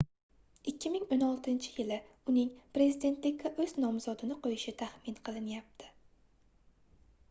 2016-yili uning prezidentlikka oʻz nomzodini qoʻyishi taxmin qilinyapti